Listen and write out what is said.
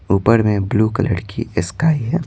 ऊपर में blue colour की स्काई है।